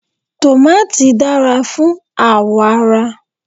Tòmàtì dára fún àwọ̀ ara.